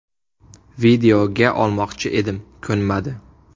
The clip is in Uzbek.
Videoga olmoqchi edim, ko‘nmadi.